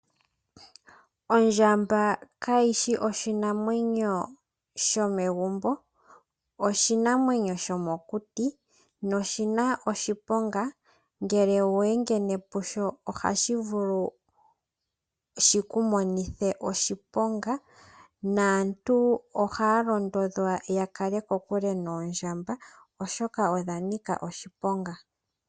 Ondjamba kashishi oshinamwenyo shomegumbo naantu ohaya londodhwa ta kale kokule noomdjamba oshoka odha nika oshiponga.